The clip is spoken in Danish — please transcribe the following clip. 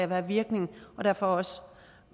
der er virkning og derfor også